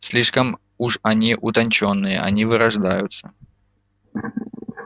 слишком уж они утончённые они вырождаются